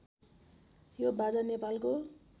यो बाजा नेपालको